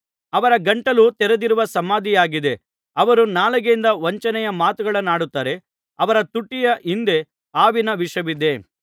ಅವರ ಗಂಟಲು ತೆರೆದಿರುವ ಸಮಾಧಿಯಾಗಿದೆ ಅವರು ನಾಲಿಗೆಯಿಂದ ವಂಚನೆಯ ಮಾತುಗಳನ್ನಾಡುತ್ತಾರೆ ಅವರ ತುಟಿಯ ಹಿಂದೆ ಹಾವಿನ ವಿಷವಿದೆ